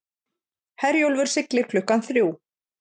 Herjólfur siglir klukkan þrjú